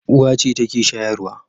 Uwa ce take shayarwa.